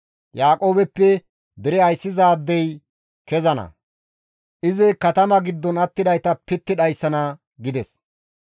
Yaaqoobeppe dere ayssizaadey kezana; izi katama giddon attidayta pitti dhayssana» gides.